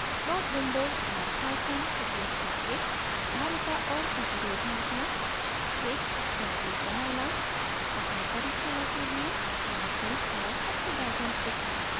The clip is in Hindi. plot window और python उपयोग करके धारिता capacitance और प्रतिरोध resistance मापना